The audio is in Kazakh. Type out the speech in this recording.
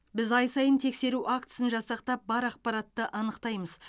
біз ай сайын тексеру актісін жасақтап бар ақпаратты анықтаймыз